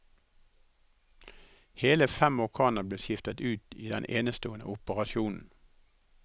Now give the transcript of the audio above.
Hele fem organer ble skiftet ut i den enestående operasjonen.